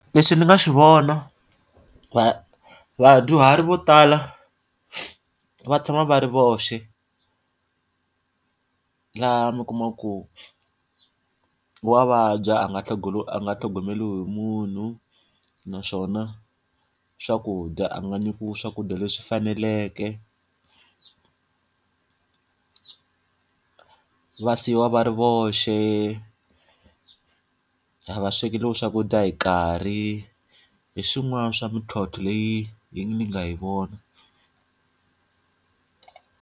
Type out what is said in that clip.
Leswi ndzi nga swi vona vadyuhari vo tala va tshama va ri voxe. Laha mi kuma ku, wa vabya a nga a nga tlhogomeriwi hi munhu. Naswona swakudya a nga nyikiwi swakudya leswi faneleke va siyiwa va ri voxe, a va swekeriwi swakudya hi karhi. Hi swin'wana swa mintlhontlho leyi yi nga hi vona.